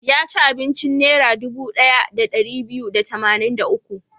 Ya ci abincin Naira dubu ɗaya da ɗari biyu da tamanin da uku.